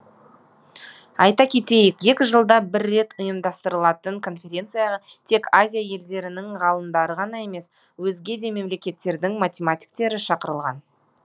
айта кетейік екі жылда бір рет ұйымдастырылатын конференцияға тек азия елдерінің ғалымдары ғана емес өзге де мемлекеттердің математиктері шақырылған